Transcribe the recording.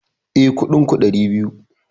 Eh, Kuɗin ku ɗari biyu